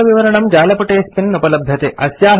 अधिकविवरणं जालपुटेऽस्मिन् उपलभ्यते